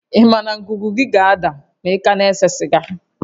Ị ma na ngụgụ gị ga-ada ma ị ka na-ese siga?